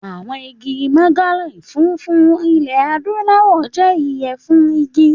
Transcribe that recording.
Àwọn igi mahogany funfun ilẹ̀ Adúláwọ̀ jẹ́ iye fún igi.